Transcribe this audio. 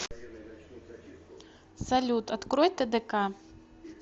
салют открой тдк